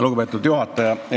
Lugupeetud juhataja!